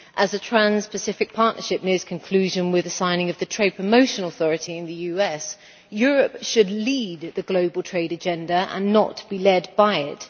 As the Trans Pacific Partnership nears conclusion with the signing of the Trade Promotion Authority in the US, Europe should lead the global trade agenda and not be led by it.